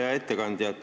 Hea ettekandja!